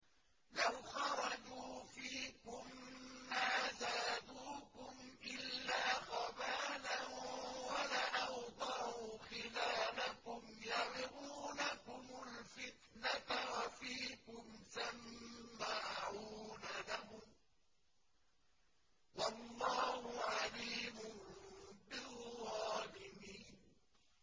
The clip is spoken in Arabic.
لَوْ خَرَجُوا فِيكُم مَّا زَادُوكُمْ إِلَّا خَبَالًا وَلَأَوْضَعُوا خِلَالَكُمْ يَبْغُونَكُمُ الْفِتْنَةَ وَفِيكُمْ سَمَّاعُونَ لَهُمْ ۗ وَاللَّهُ عَلِيمٌ بِالظَّالِمِينَ